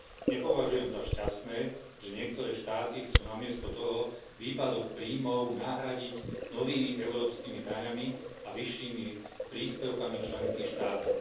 Nepovažujem za šťastné, že niektoré štáty chcú namiesto toho výpadok príjmov nahradiť novými európskymi daňami a vyššími príspevkami členských štátov.